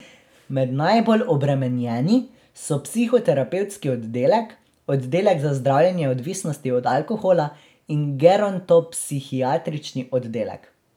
Med najbolj obremenjeni so psihoterapevtski oddelek, oddelek za zdravljenje odvisnosti od alkohola in gerontopsihiatrični oddelek.